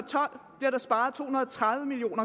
tredive million